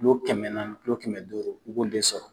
Kilo kɛmɛ naani kilo kɛmɛ duuru i b'o de sɔrɔ